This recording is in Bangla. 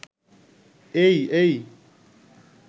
'এই... এইই.